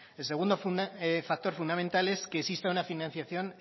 el segundo factor fundamental es que exista una financiación